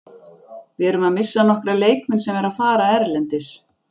Við erum að missa nokkra leikmenn sem eru að fara erlendis.